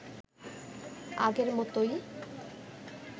আগের মতোই